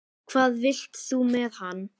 Hvað vilt þú með hann?